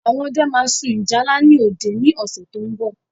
Àwọn ọdẹ ma sun ìjálá ni òde ni ọ̀sẹ̀ tó ń bọ̀